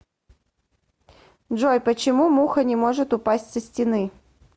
джой почему муха не может упасть со стены